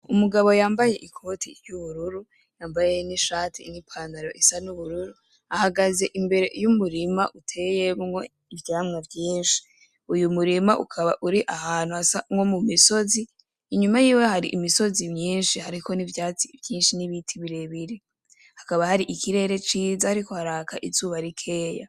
Umugabo yambaye ikoti ry'ubururu, yambaye n'ishati n'ipantaro isa n'ubururu, ahagaze imbere y'umurima uteyemwo ivyamwa vyinshi. Uyu murima ukaba uri ahantu hasa nko mu misozi, inyuma yiwe hari imisozi myinshi hariko n'ivyatsi vyinshi n'ibiti birebire, hakaba hari ikirere ciza hariko haraka izuba rikeya.